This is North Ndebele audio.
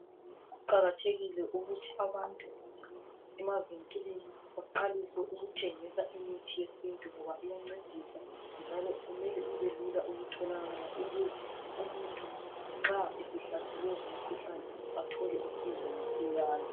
Kuqakathekile ukuthi abantu emavinkilini baqalise ukuthengisa imithi yesintu ngoba iyancedisa njalo kumele ibe lula ukutholakala ukuze umuntu nxa esehlaselwe ngumkhuhlane athole usizo masinyane.